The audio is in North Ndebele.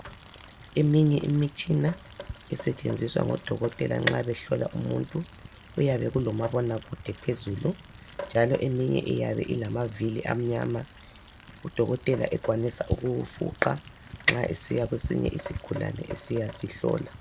Eminye imitshina esetshenziswa ngodokotela nxa behlola umuntu uyabe ulomabonakude phezulu, njalo eminye iyabe ilamavili amnyama udokotela ekwanisa ukuwufuqa nxa esiya kwesinye isigulane esiya sihlola.